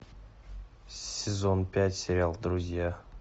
сезон пять сериал друзья